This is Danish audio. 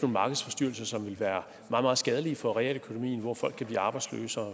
markedsforstyrrelser som ville være meget skadelige for realøkonomien folk kan blive arbejdsløse og